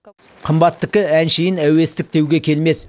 қымбаттікі әншейін әуестік деуге келмес